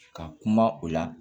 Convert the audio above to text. Ka kuma o la